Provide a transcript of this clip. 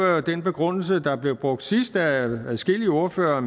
jo den begrundelse der blev brugt sidst af adskillige ordførere og